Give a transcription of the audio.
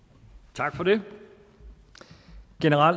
tak for det